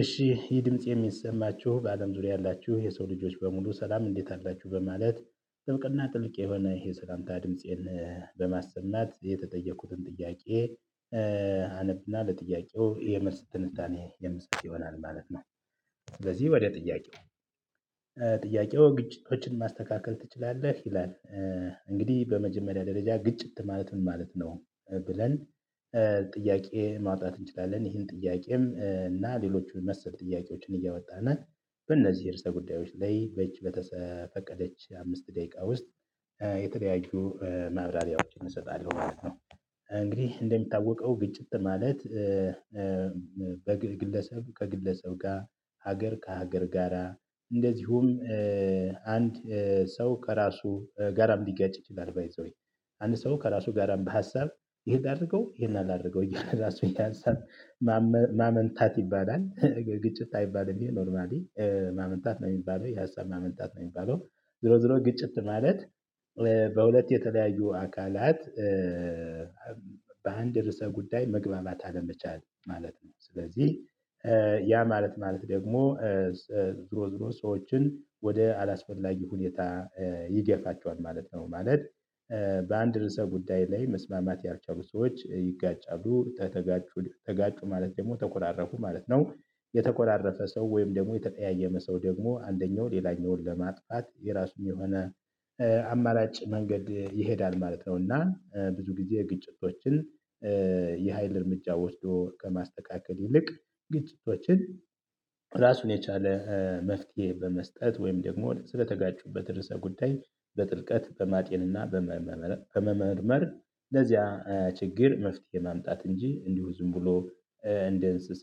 እሺ ይህ ድምጽ የሚሰማችሁ በአለም ዙሪያ ያላችሁ የሰው ልጆች በሙሉ ሰላም እንዴት አላችሁ በማለት ጥብቅ እና ጥልቅ የሰላምታ ድምፄን በማሰማት የተጠየቁትን ጥያቄ አነብ እና ለጥያቄው የመልስ ትንታኔ የምሰጥ ይሆናል ማለት ነው። ስለዚህ ወደ ጥያቄው ጥያቄው ግጭቶችን ማስተካከል ትችላለህ ይላል። እንግዲህ በመጀመሪያ ደረጃ ግጭት ማለት ምን ማለት ነው? ብለን ጥያቄ ማውጣት እንችላለን ይሄን ጥያቄም እና ሌሎቹን መሰል ጥያቄዎችን እያወጣን በእነዚህ የርዕስ ጉዳዮች ላይ በዚች በተፈቀደች አምስት ደቂቃ ውስጥ የተለያዩ ማብራሪያዎችን እሰጣለሁ ማለት ነው። እንግዲህ እንደሚታወቀው ግጭት ማለት። በግለሰብ ከግለሰብ ጋር ሀገር ከሀገር ጋራ እንደዚሁም አንድ ሰው ከራሱ ጋራም ሊጋጭ ይችላል ባይ ዘ ዌይ አንድ ሰው ከራሱ ጋርም በሀሳብ ይሄን አድርገው ይሄን አላደርገው እያለ ራሱን የሀሳብ ማመንታት ይባላል ግጭት አይባልም ኖርማሊ ማመንታት ነው የሚባለው የሀሳብ ማመንታት ነው የሚባለው። ዙሮ ዙሮ ግጭት ማለት። በሁለት የተለያዩ አካላት በአንድ ርዕሰ ጉዳይ መግባባት አለመቻል ማለት ነው። ስለዚህ ያ ማለት ማለት ደግሞ ዙሮ ዙሮ ሰዎችን ወደ አላስፈላጊ ሁኔታ ይገፋቸዋል ማለት ነው ማለት። በአንድ ርዕሰ ጉዳይ ላይ መስማማት ያልቻሉ ሰዎች ይጋጫሉ ከተጋጩ ተጋጩ ማለት ደግሞ ተኮራረፉ ማለት ነው። የተኮራረፈ ሰው ወይም ደግሞ የተቀያየመ ሰው ደግሞ አንደኛው ሌላኛውን ለማጥፋት የራሱን የሆነ አማራጭ መንገድ ይሄዳል ማለት ነው። እና ብዙ ጊዜ ግጭቶችን የሀይል እርምጃ ወስዶ ከማስተካከል ይልቅ ግጭቶችን ራሱን የቻለ መፍትሄ በመስጠት ወይም ደግሞ ስለተጋጩበት ርዕሰ ጉዳይ በጥልቀት በማጤን እና በመመርመር ለዚያ ችግር መፍትሄ ማምጣት እንጂ እንዲሁ ዝም ብሎ እንደ እንስሳ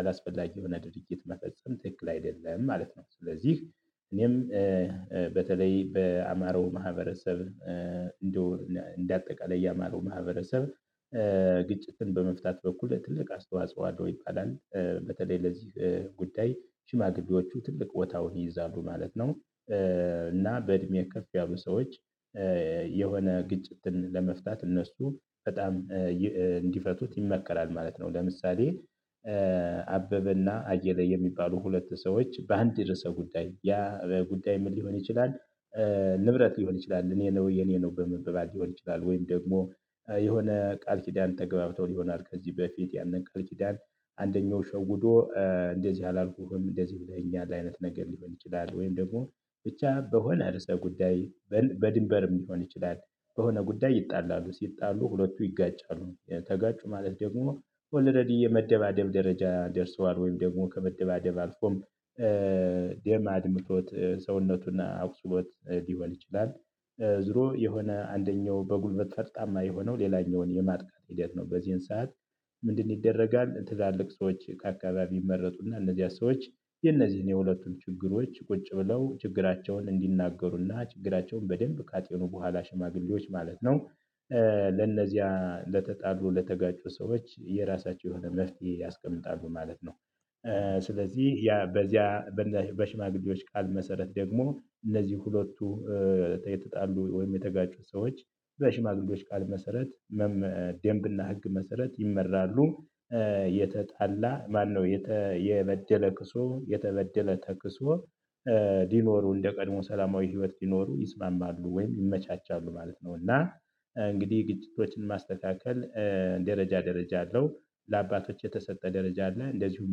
አላስፈላጊ የሆነ ድርጊት መፈጸም ትክክል አይደለም ማለት ነው። ስለዚህ እኔም በተለይ በአማራው ማህበረሰብ እንደው እንደ አጠቃላይ የአማራው ማህበረሰብ ግጭትን በመፍታት በኩል ትልቅ አስተዋጽኦ አለው ይባላል በተለይ ለዚህ ጉዳይ ሽማግሌዎቹ ትልቅ ቦታውን ይይዛሉ ማለት ነው። እና በእድሜ ከፍ ያሉ ሰዎች የሆነ ግጭትን ለመፍታት እነሱ በጣም እንዲፈቱት ይመከራል ማለት ነው። ለምሳሌ አበበ እና አየለ የሚባሉ ሁለት ሰዎች በአንድ የርዕሰ ጉዳይ ያ በጉዳይ ምን ሊሆን ይችላል? ንብረት ሊሆን ይችላል እኔ ነው የኔ ነው በመንበባል ሊሆን ይችላል ወይም ደግሞ የሆነ ቃል ኪዳን ተገባብተው ይሆናል ከዚህ በፊት ያንን ቃል ኪዳን አንደኛው ሸውዶ እንደዚህ አላልኩህም እንደዚህ ብለህኛል አይነት ነገር ሊሆን ይችላል ወይም ደግሞ ብቻ በሆነ ርዕሰ ጉዳይ በድንበርም ሊሆን ይችላል። በሆነ ጉዳይ ይጣላሉ ሲጣሉ ሁለቱ ይጋጫሉ ተጋጩ ማለት ደግሞ ኦልረዲ የመደባደብ ደረጃ ደርሰዋል ወይም ደግሞ ከመደባደብ አልፎም ደም አድምቶት ሰውነቱን አቁስሎት ሊሆን ይችላል። ዙሮ የሆነ አንደኛው በጉልበት ፈርጣማ የሆነው ሌላኛውን የማጥቃት ሂደት ነው በዚህን ሰዓት ምንድን ይደረጋል ትላልቅ ሰዎች ከአካባቢ ይመረጡ እና እነዚያ ሰዎች የነዚህን የሁለቱን ችግሮች ቁጭ ብለው ችግራቸውን እንዲናገሩ እና ችግራቸውን በደንብ ካጤኑ በኋላ ሽማግሌዎች ማለት ነው። ለነዚያ ለተጣሉ ለተጋጩ ሰዎች የራሳቸው የሆነ መፍትሄ ያስቀምጣሉ ማለት ነው። ስለዚህ ያ በዚያ በሽማግሌዎች ቃል መሰረት ደግሞ እነዚህ ሁለቱ የተጣሉ ወይም የተጋጩት ሰዎች በሽማግሌዎች ቃል መሰረት ደንብ እና ህግ መሰረት ይመራሉ። የተጣላ ማነው የተ የበደለ ክሶ የተበደለ ተክሶ ሊኖሩ እንደ ቀድሞ ሰላማዊ ህይወት ሊኖሩ ይስማማሉ ወይም ይመቻቻሉ ማለት ነው። እና እንግዲህ ግጭቶችን ማስተካከል ደረጃ ደረጃ አለው። ለአባቶች የተሰጠ ደረጃ አለ እንደዚሁም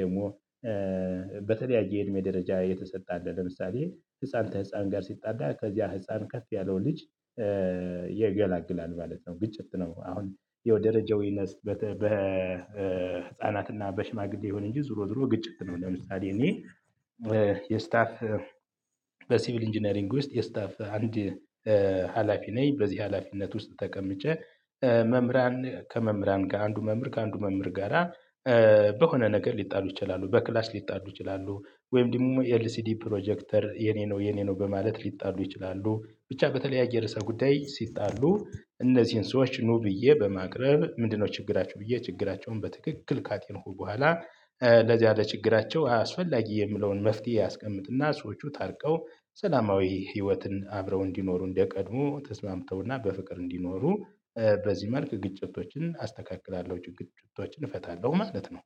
ደግሞ በተለያየ የእድሜ ደረጃ የተሰጠ አለ ለምሳሌ ህፃን ተህፃን ጋር ሲጣላ ከዚያ ህፃን ከፍ ያለው ልጅ ይገላግላል ማለት ነው። ግጭት ነው አሁን ደረጃው ይነስ በህፃናት እና በሽማግሌ ይሁን እንጂ ዙሮ ዙሮ ግጭት ነው። ለምሳሌ እኔ የስታፍ በሲቪል ኢንጂነሪንግ ውስጥ የስታፍ አንድ ሀላፊ ነኝ። በዚህ ሀላፊነት ውስጥ ተቀምጬ መምህራን ከመምህራን ጋር አንዱ መምህር ከአንዱ መምህር ጋር። በሆነ ነገር ሊጣሉ ይችላሉ በክላስ ሊጣሉ ይችላሉ ወይም ደግሞ ኤልሲዲ ፕሮጀክተር የኔ ነው የኔ ነው በማለት ሊጣሉ ይችላሉ ብቻ በተለያየ ርዕሰ ጉዳይ ሲጣሉ እነዚህን ሰዎች ኑ ብዬ በማቅረብ ምንድነው ችግራቸው ብዬ ችግራቸውን በትክክል ካጤንኩ በኋላ። ለዚያ ለችግራቸው አስፈላጊ የምለውን መፍትሄ አስቀምጥ እና ሰዎቹ ታርቀው ሰላማዊ ህይወትን አብረው እንዲኖሩ እንደቀድሞ ተስማምተው እና በፍቅር እንዲኖሩ። በዚህ መልክ ግጭቶችን አስተካክላለሁ ጭቅጭቶችን እፈታለሁ ማለት ነው